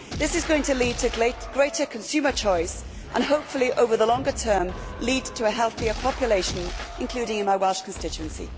This is going to lead to greater consumer choice and hopefully, over the longer term, lead to a healthier population, including in my Welsh constituency.